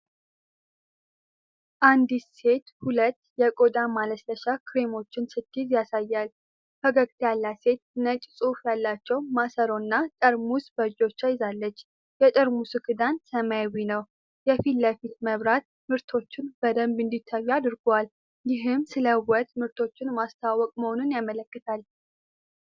አንዲት ሴት ሁለት የቆዳ ማለስለሻ ክሬሞችን ስትይዝ ያሳያል። ፈገግታ ያላት ሴት ነጭ ጽሑፍ ያላቸው ማሰሮና ጠርሙስ በእጆቿ ይዛለች። የጠርሙሱ ክዳን ሰማያዊ ነው። የፊት ለፊት መብራት ምርቶቹ በደንብ እንዲታዩ አድርጓል፤ ይህም ስለ ውበት ምርቶች ማስተዋወቅ መሆኑን ያመለክታል።